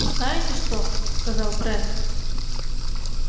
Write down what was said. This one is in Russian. знаете что сказал брент